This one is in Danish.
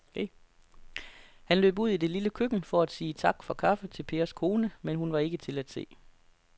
Han løb ud i det lille køkken for at sige tak for kaffe til Pers kone, men hun var ikke til at se.